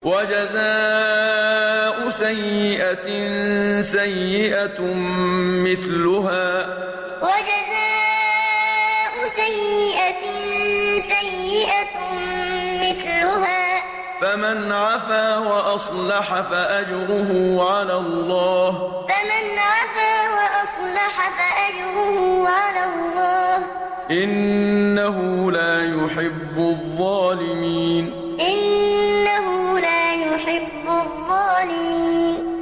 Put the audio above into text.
وَجَزَاءُ سَيِّئَةٍ سَيِّئَةٌ مِّثْلُهَا ۖ فَمَنْ عَفَا وَأَصْلَحَ فَأَجْرُهُ عَلَى اللَّهِ ۚ إِنَّهُ لَا يُحِبُّ الظَّالِمِينَ وَجَزَاءُ سَيِّئَةٍ سَيِّئَةٌ مِّثْلُهَا ۖ فَمَنْ عَفَا وَأَصْلَحَ فَأَجْرُهُ عَلَى اللَّهِ ۚ إِنَّهُ لَا يُحِبُّ الظَّالِمِينَ